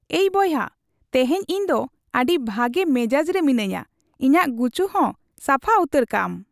ᱮᱭ ᱵᱚᱭᱦᱟ ᱾ ᱛᱮᱦᱮᱧ ᱤᱧ ᱫᱚ ᱟᱹᱰᱤ ᱵᱷᱟᱜᱮ ᱢᱮᱡᱟᱡ ᱨᱮ ᱢᱤᱱᱟᱹᱧᱟ ᱾ ᱤᱧᱟᱜ ᱜᱩᱪᱩ ᱦᱚᱸ ᱥᱟᱯᱷᱟ ᱩᱛᱟᱹᱨ ᱠᱟᱢ ᱾